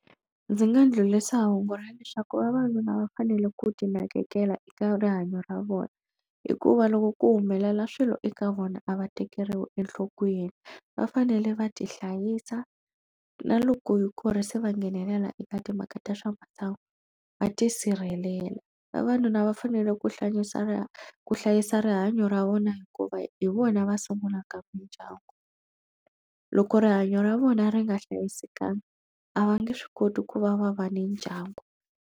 Ndzi nga ndlhulisa hungu ra leswaku vavanuna va fanele ku ti nakekela eka rihanyo ra vona hikuva loko ku humelela swilo eka vona a va tekeriwi enhlokweni va fanele va ti hlayisa na loko ku ri se va nghenelela eka timhaka ta swamasangu va tisirhelela vavanuna va fanele ku hlayisa ra ku hlayisa rihanyo ra vona hikuva hi vona va sungulaka mindyangu loko rihanyo ra vona ri nga hlayisekangi a va nge swi koti ku va va va ni ndyangu.